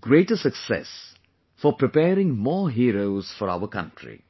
greater success for preparing more heroes for our country